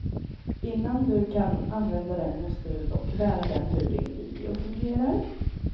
Innan du kan använda den måste du dock lära den hur din video fungerar.